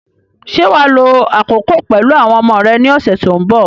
Ṣé wà á lo àkókò pẹ̀lú àwọn ọmọ rẹ ní ọ̀sẹ̀ tí ó ń bọ̀?